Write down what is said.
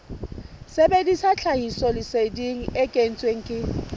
sebedisa tlhahisoleseding e kentsweng ke